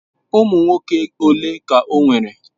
Ụmụ nwoke ole ka o nwere?